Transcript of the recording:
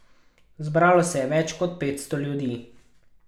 Zbralo se je več kot petsto ljudi.